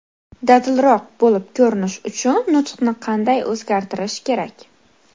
Dadilroq bo‘lib ko‘rinish uchun nutqni qanday o‘zgartirish kerak?.